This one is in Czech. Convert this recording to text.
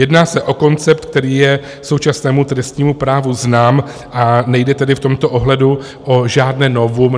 Jedná se o koncept, který je současnému trestnímu právu znám, a nejde tedy v tomto ohledu o žádné novum.